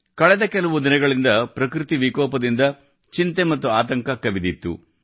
ಕಳೆದ ಕೆಲವು ದಿನಗಳಿಂದ ಪ್ರಕೃತಿ ವಿಕೋಪದಿಂದ ಚಿಂತೆ ಮತ್ತು ಆತಂಕ ಕವಿದಿತ್ತು